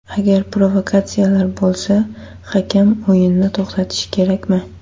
Agar provokatsiyalar bo‘lsa, hakam o‘yinni to‘xtatishi kerakmi?